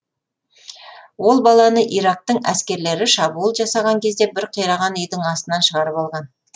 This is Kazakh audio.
ол баланы ирактың әскерлері шабуыл жасаған кезде бір қираған үйдің астынан шығарып алған